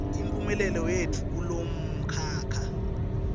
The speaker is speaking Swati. imphumelelo yetfu kulomkhakha